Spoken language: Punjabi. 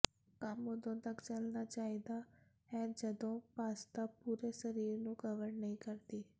ਕੰਮ ਉਦੋਂ ਤੱਕ ਚੱਲਣਾ ਚਾਹੀਦਾ ਹੈ ਜਦੋਂ ਪਾਸਤਾ ਪੂਰੇ ਸਰੀਰ ਨੂੰ ਕਵਰ ਨਹੀਂ ਕਰਦੀ